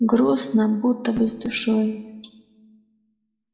грустно будто бы с душой